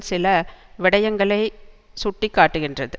சில விடயங்களை சுட்டி காட்டுகின்றது